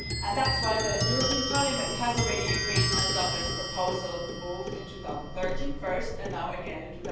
That's why the European Parliament has already agreed on a Dublin proposal, both in 2013, first, and now again in